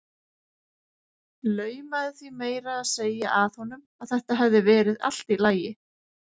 Laumaði því meira að segja að honum að þetta hefði verið allt í lagi.